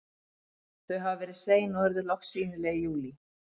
Þau hafa verið sein og urðu loks sýnileg í júlí.